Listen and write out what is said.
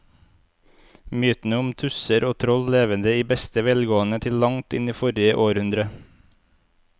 Mytene om tusser og troll levde i beste velgående til langt inn i forrige århundre.